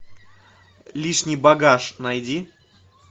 лишний багаж найди